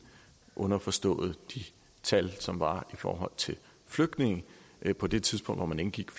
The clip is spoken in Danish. underforstået de tal som der var i forhold til flygtninge på det tidspunkt hvor man indgik